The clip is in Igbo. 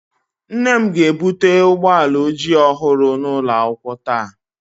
Nne m ga-ebute ụgbọ ala ojii ọhụrụ n'ụlọ akwụkwọ taa